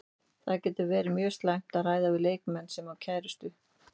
Það getur verið mjög slæmt að ræða við leikmann sem á kærustu.